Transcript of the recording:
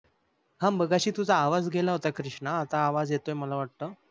ह मघाशी तुझा आवाज गेला होता क्रीस्ना आता आवाज येतोय मला वाटत.